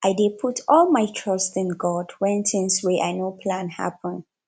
i dey put all my trust in god wen tins wey i no plan happen